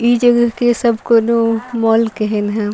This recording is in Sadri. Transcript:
इ जगह के सब कोनो एनआईआईसीआर मॉल केहेन ह।